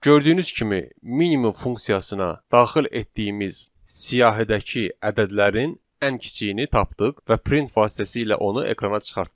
Gördüyünüz kimi, minimum funksiyasına daxil etdiyimiz siyahidəki ədədlərin ən kiçiyini tapdıq və print vasitəsilə onu ekrana çıxartdıq.